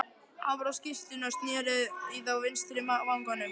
Hann var á skyrtunni og sneri í þá vinstri vanganum.